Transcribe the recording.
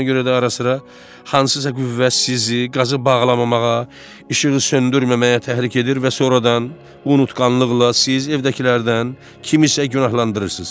Ona görə də ara sıra hansısa qüvvə sizi qazı bağlamamağa, işığı söndürməməyə təhrik edir və sonradan unutqanlıqla siz evdəkilərdən kimisə günahlandırırsız.